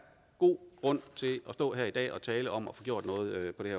god grund til at stå her i dag og tale om at få gjort noget på det